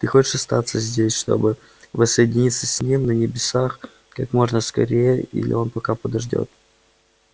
ты хочешь остаться здесь чтобы воссоединиться с ним на небесах как можно скорее или он пока подождёт